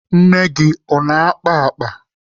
Nne gị ọ na-akpa akpa?